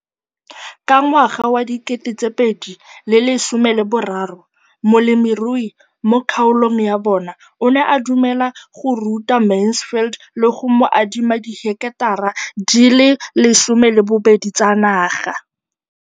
Ka ngwaga wa 2013, molemirui mo kgaolong ya bona o ne a dumela go ruta Mansfield le go mo adima di heketara di le 12 tsa naga.